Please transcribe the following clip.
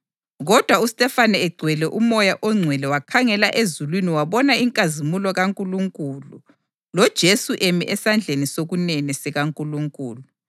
Kodwa uStefane egcwele uMoya oNgcwele wakhangela ezulwini wabona inkazimulo kaNkulunkulu loJesu emi esandleni sokunene sikaNkulunkulu.